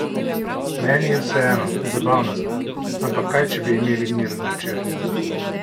Meni je vseeno, zabavna sta, ampak kaj če bi imeli miren večer?